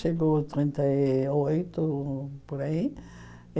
Chegou trinta e oito, por aí.